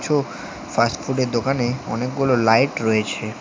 উ ফাস্টফুডের দোকানে অনেকগুলো লাইট রয়েছে।